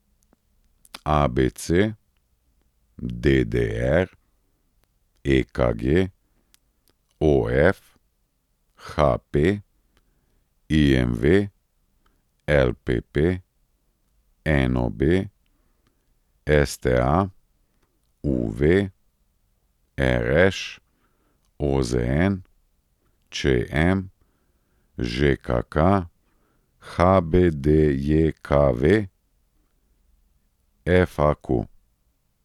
ABC, DDR, EKG, OF, HP, IMV, LPP, NOB, STA, UV, RŠ, OZN, ČM, ŽKK, HBDJKV, FAQ.